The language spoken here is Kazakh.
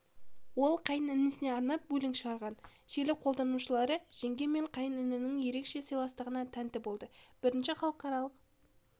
ол қайын інісіне арнап өлең шығарған желі қолданушылары жеңге мен қайын інінің ерекше сыйластығына тәнті болды бірінші халықаралық